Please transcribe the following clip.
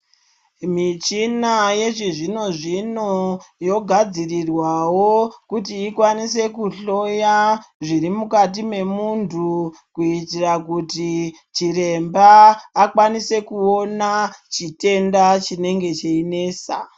Michina yechizvino-zvino yogadzirirwavo kuti ikwanise kuhloya zviri mukati memuntu. Kuitira kuti chiremba akwanise kuona chitenda chinenge cheinesa.